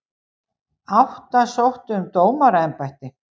Átta sóttu um dómaraembætti